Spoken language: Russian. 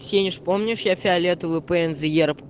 сенеж помнишь я фиолетовую пензэ ерэб